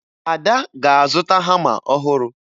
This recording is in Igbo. Ada ga-azụta hama ọhụrụ